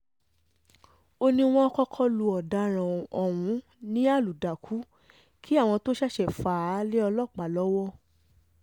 ó ní wọ́n um kọ́kọ́ lu ọ̀daràn ọ̀hún ní àlùdàkù kí àwọn tóo ṣẹ̀ṣẹ̀ fà á um lé ọlọ́pàá lọ́wọ́